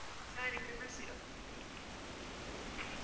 sorry triple zero